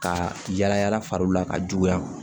Ka yala yala fariw la ka juguya